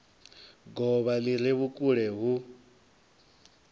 govha li re vhukule hu